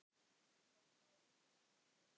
Tökum lagið, landar góðir.